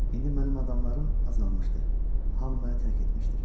İndi mənim adamlarım azalmışdı, hamı məni tərk etmişdir.